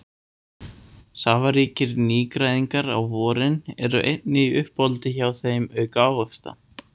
Safaríkir nýgræðingar á vorin eru einnig í uppáhaldi hjá þeim auk ávaxta.